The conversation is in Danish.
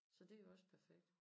Så det jo også perfekt